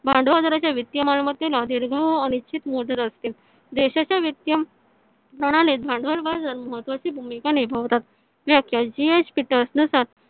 भांडवल बाजाराच्या वित्तीय मालमत्तेला दीर्घ अनिश्चित असते. देशाच्या वित्तीय प्रणालीत भांडवल बाजार महत्वाची भूमिका निभावतात. tracker नुसार